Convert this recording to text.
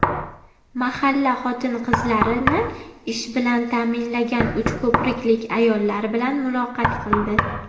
mahalla xotin-qizlarini ish bilan ta’minlagan uchko‘priklik ayollar bilan muloqot qildi.